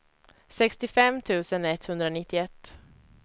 sextiofem tusen etthundranittioett